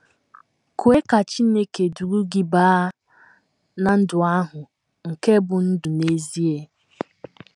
Kwe Ka Chineke Duru Gị Baa ná “ Ndụ ahụ Nke Bụ́ Ndụ n’Ezie ”